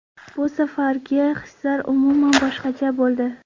Bu safargi hislar umuman boshqacha bo‘ldi.